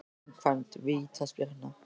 Framkvæmd vítaspyrna?